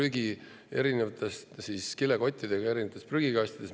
Korjati prügi kokku erinevate kilekottidega erinevates prügikastides.